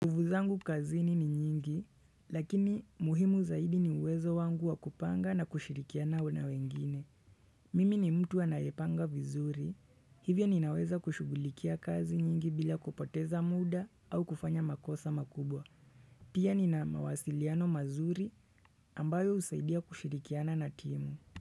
Nguvu zangu kazini ni nyingi, lakini muhimu zaidi ni uwezo wangu wakupanga na kushirikiana wana wengine. Mimi ni mtu anaepanga vizuri, hivyo ninaweza kushugulikia kazi nyingi bila kupoteza muda au kufanya makosa makubwa. Pia nina mawasiliano mazuri ambayo usaidia kushirikiana na timu.